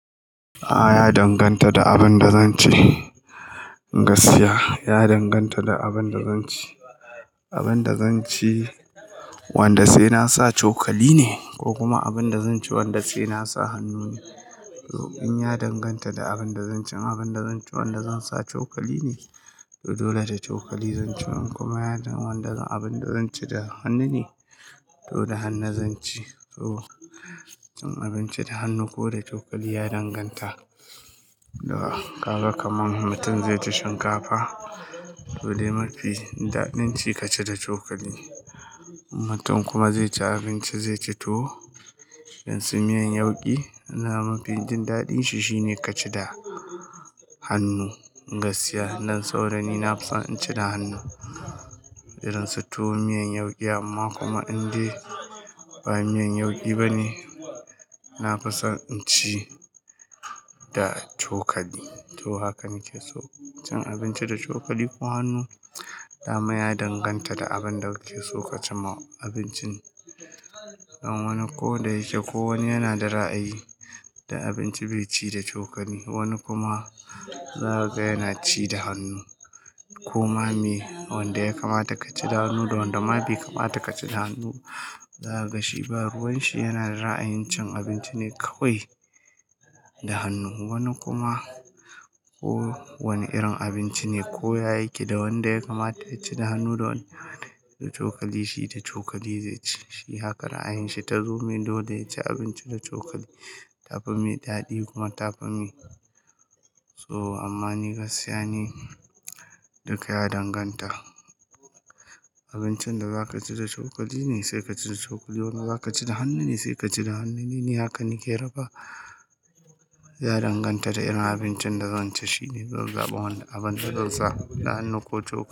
A'a ya danganta da abin da zan ci, gaskiya ya danganta da abin da zan ci. Abin da zan ci wanda sai na sa chokali ne ko kuma abin da zan ci wanda sai na sa hannu ne. To in ya danganta da abin da zan ci, abin da zan ci wanda zan sa chokali ne to dole da chokali zan ci. In kuma ya danganta da abin da zan ci da hannu ne to da hannu zan ci. Cin abinci da hannu ko da cokali ya danganta da ka ga kamar mutum zai ci shinkafa dole mafi daɗin ci ka ci da cokali. Mutum kuma zai ci abinci zai ci tuwo irin su miyan yauƙi, ina mafi jin daɗin shi shine ka ci da hannu. Gaskiya, nan saurani na fi son in ci da hannu irin su tuwo, miyan yauƙi amma kuma indai ba miyan yauƙi bane, na fi son in ci da cokali. Toh hakan nake so cin abinci da cokali ko hannu, dama ya danganta da abin da kuke so ka ci ma abincin. Don wani ko da yake ko wani yana da ra'ayi, da abinci bai ci da cokali. Wani kuma za ka ga yana ci da hannu. Koma mai, wanda ya kamata ka ci da hannu da wanda ma bai kamata ka ci da hannu, za ka shi ba. Ruwan shi yana da ra'ayin cin abinci ne kawai da hannu. Wani kuma ko wane irin abinci ne ko ya yake, da wanda ya kamata ya ci da hannu da wanda da cokali shi da cokali zai ci. Shi hakan ra'ayin shi ta zo mai dole ya ci abinci da cokali, ta fi mai daɗi kuma ta fi mai. Toh amma ni gaskiya ni, duka ya danganta. Abincin da za ka ci da cokali ne sai ka ci da cokali, in wanda za ka ci da hannu ne sai ka ci da hannu. Ni ne haka nake raba, ya danganta da irin abincin da zan ci shine zan zaɓa wanda abin da zan sa da hannu ko cokali.